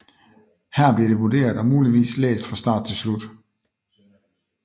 Her bliver det vurderet og muligvis læst fra start til slut